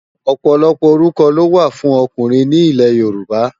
Òpòlòpò órúkò ló wá fùn òkúnrin ni Ilè Yoruba